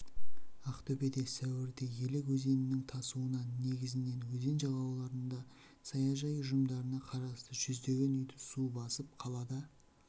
ақтөбеде сәуірде елек өзенінің тасуынан негізінен өзен жағалауындағы саяжай ұжымдарына қарасты жүздеген үйді су басып қалада